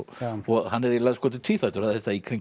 hann er eiginlega tvíþættur það er þetta í kringum